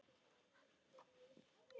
Þú veist að hann.